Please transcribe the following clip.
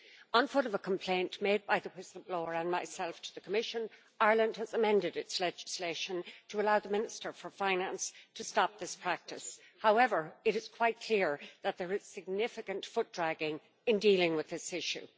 On foot of a complaint made by the whistle-blower and myself to the Commission, Ireland has amended its legislation to allow the Minister for Finance to stop this practice. However, it is quite clear that there is significant foot dragging in dealing with this issue.